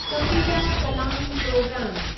Kapila Kalam प्रोग्रामु